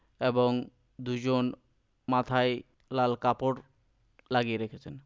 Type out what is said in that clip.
এবং দুজন মাথায় লাল কাপড় লাগিয়ে রেখেছেন।